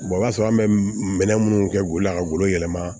o b'a sɔrɔ an bɛ minɛn minnu kɛ o la ka bolo yɛlɛma